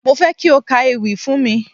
Mo fẹ́ kí o ka ewì fún mi.